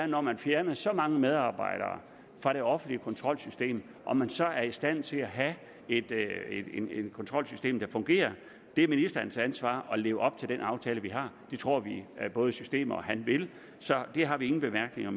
når man fjerner så mange medarbejdere fra det offentlige kontrolsystem om man så er i stand til at have et kontrolsystem der fungerer det er ministerens ansvar at leve op til den aftale vi har det tror vi at både systemet og han vil så det har vi ingen bemærkninger